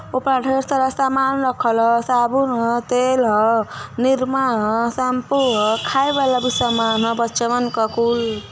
ऊपर ढ़ेर सारा सामान रखल ह साबुन ह तेल ह निरमा ह शम्पू ह खाय वाला भी सामान ह बच्चवन क कुल --